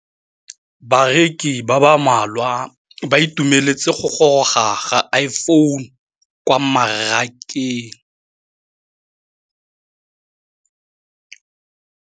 Bareki ba ba malwa ba ituemeletse go gôrôga ga Iphone6 kwa mmarakeng.